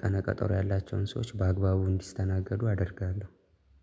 ቀነቀጠሮ ያላቸውን ሰዎች በአግባቡ እንዲስተናገዱ አደርጋለሁ